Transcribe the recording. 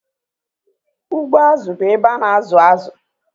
Azụ ugbo bụ izu azụ